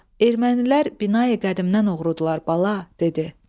ermənilər binayı qədimdən oğrudurlar bala, dedi.